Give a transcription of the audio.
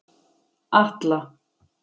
Atla